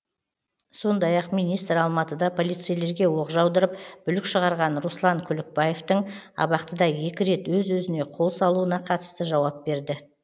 сондай ақ министр алматыда полицейлерге оқ жаудырып бүлік шығарған руслан күлікбаевтың абақтыда екі рет өз өзіне қол салуына қатысты жауап берді